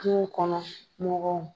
Kungo kɔnɔ mɔgɔw.